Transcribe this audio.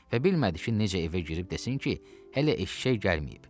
Və bilmədi ki, necə evə girib desin ki, hələ eşşək gəlməyib.